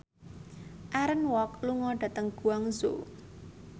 Aaron Kwok lunga dhateng Guangzhou